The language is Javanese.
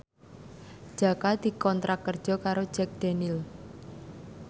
Jaka dikontrak kerja karo Jack Daniels